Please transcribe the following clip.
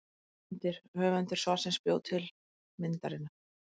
Myndir: Höfundur svarsins bjó til myndirnar.